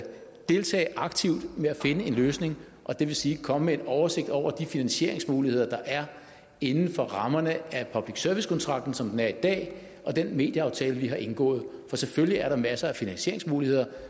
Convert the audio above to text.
deltage aktivt i at finde en løsning det vil sige komme med en oversigt over de finansieringsmuligheder der er inden for rammerne af public service kontrakten som den er i dag og den medieaftale som vi har indgået for selvfølgelig er der masser af finansieringsmuligheder